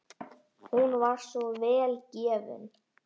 Hún var svo vel gefin.